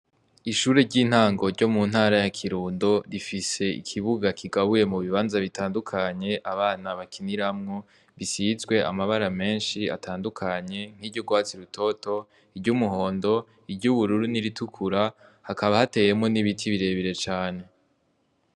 Ishure ry'intango ryo mu ntara ya Kirundo rifise ikibuga kigabuye mu bibanza bitandukanye abana bakiniramwo bisizwe amabara menshi atandukanye nk'iry'urwatsi rutoto ,iry'umuhondo, iry'ibururu n'iritukura hakaba hateyemwo n'ibiti birebire cane .